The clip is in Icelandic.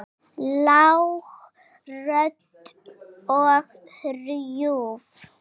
Lág rödd og hrjúf.